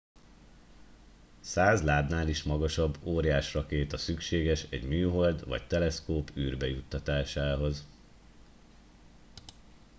100 lábnál is magasabb óriás rakéta szükséges egy műhold vagy teleszkóp űrbe juttatásához